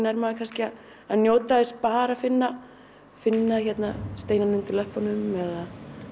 er maður kannski að njóta þess bara að finna finna steinana undir löppunum eða